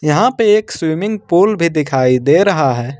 यहां पे एक स्विमिंग पूल भी दिखाई दे रहा है।